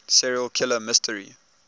serial killer mystery